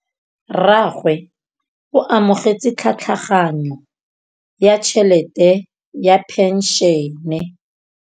Rragwe o amogetse tlhatlhaganyô ya tšhelête ya phenšene.